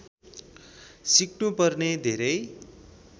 सिक्नुपर्ने धेरै